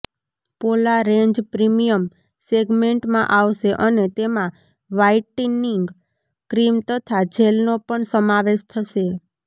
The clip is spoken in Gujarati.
પોલા રેન્જ પ્રીમિયમ સેગમેન્ટમાં આવશે અને તેમાં વ્હાઇટનિંગ ક્રીમ તથા જેલનો પણ સમાવેશ થશે